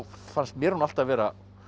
fannst mér hún alltaf vera